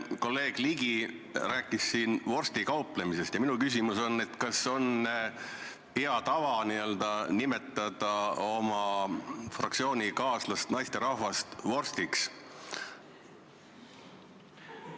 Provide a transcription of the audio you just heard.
Kolleeg Ligi rääkis siin vorstikauplemisest ja minu küsimus on: kas on hea tava nimetada oma fraktsioonikaaslasest naisterahvast vorstiks?